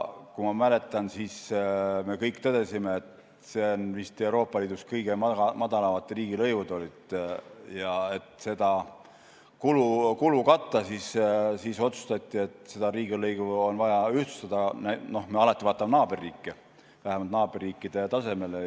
Ma mäletan, et me kõik tõdesime, et meil olid vist Euroopa Liidus kõige madalamad riigilõivud, ja et seda kulu katta, siis otsustati, et riigilõivu on vaja ühtlustada – no me vaatame alati naaberriike – vähemalt naaberriikide tasemele.